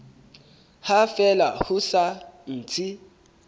ha fela ho sa ntse